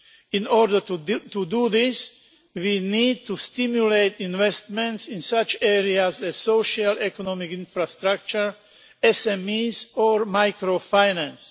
In order to do this we need to stimulate investment in such areas as socio economic infrastructure, SMEs or microfinance.